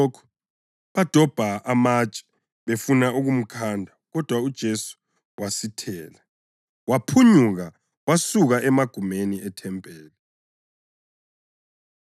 Besizwa lokhu badobha amatshe befuna ukumkhanda kodwa uJesu wasithela, waphunyuka wasuka emagumeni ethempeli.